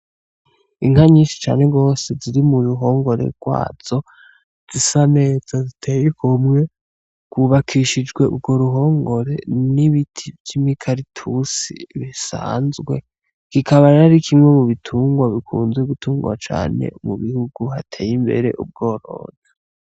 Inka nyishi cane gose ziri mu ruhongore rwazo zisa neza ziteye igomwe hubakishijwe urwo ruhongore n'ibiti vy'imikaratusi bisanzwe kikaba rero arikimwe mu bitungwa bikunzwe gutungwa cane mu bihugu hateye imbere ubworozi.